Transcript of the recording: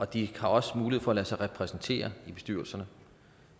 de har også mulighed for at lade sig repræsentere i bestyrelserne